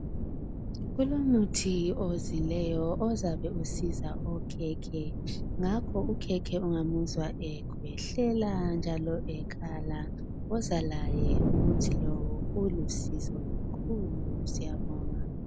Kulomuthi ozileyo ozabe usiza okhekhe. Ngakho ukhekhe ongamuzwa ekhwehlela njalo ekhala woman laye, umuthi lowu ulusizo kakhulu. Siyabonga